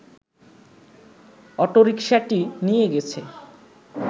অটোরিকশাটি নিয়ে গেছে